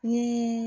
Ni